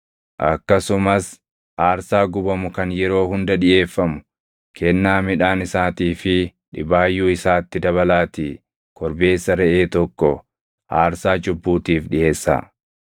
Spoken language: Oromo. Akkasumas aarsaa gubamu kan yeroo hunda dhiʼeeffamu, kennaa midhaan isaatii fi dhibaayyuu isaatti dabalaatii korbeessa reʼee tokko aarsaa cubbuutiif dhiʼeessaa.